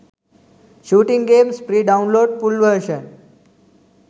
shooting games free download full version